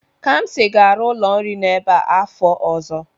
Kamsi ga-arụ ụlọ nri n'ebe a afọ ọzọ.